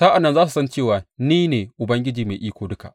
Sa’an nan za su san cewa ni ne Ubangiji Mai Iko Duka.